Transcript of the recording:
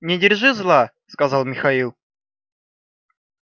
не держи зла сказал михаил